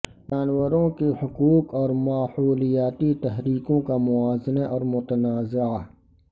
جانوروں کے حقوق اور ماحولیاتی تحریکوں کا موازنہ اور متنازعہ